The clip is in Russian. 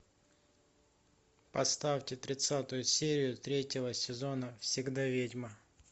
поставьте тридцатую серию третьего сезона всегда ведьма